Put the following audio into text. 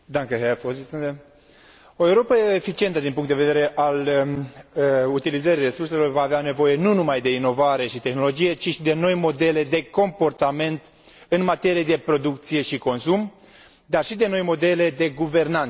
O Europă eficientă din punctul de vedere al utilizării resurselor va avea nevoie nu numai de inovare și tehnologie, ci și de noi modele de comportament în materie de producție și consum și de noi modele de guvernanță.